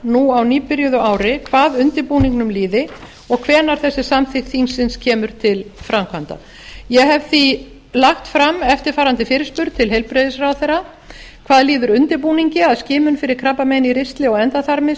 nú á nýbyrjuðu ári hvað undirbúningnum líði og hvenær þessi samþykkt þingsins kemur til framkvæmda ég hef því lagt fram eftirfarandi fyrirspurn til heilbrigðisráðherra hvað líður undirbúningi að skimun fyrir krabbameini í ristli og endaþarmi